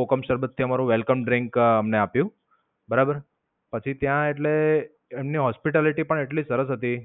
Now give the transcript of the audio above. કોકમ શરબત થી અમારું welcome drink અમને આપ્યું. બરાબર, પછી ત્યાં એટલે એમની hospitality પણ એટલી સરસ હતી